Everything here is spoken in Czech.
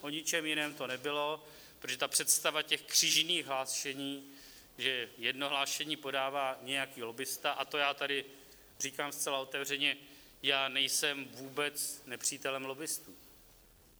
O ničem jiném to nebylo, protože ta představa těch křížených hlášení, že jedno hlášení podává nějaký lobbista - a to já tady říkám zcela otevřeně, já nejsem vůbec nepřítelem lobbistů.